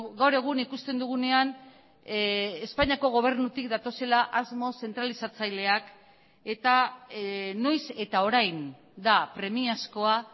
gaur egun ikusten dugunean espainiako gobernutik datozela asmo zentralizatzaileak eta noiz eta orain da premiazkoa